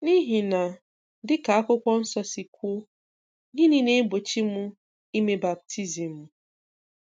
N’ihi na dị ka Akwukwu nso si kwuo, gịnị na-egbochi m ime baptizim?